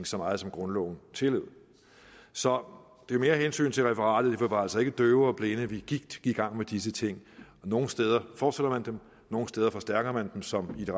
så meget som grundloven tillod så det er mere af hensyn til referatet vi var altså ikke døve og blinde vi gik i gang med disse ting nogle steder fortsætter man dem nogle steder forstærker man dem som i det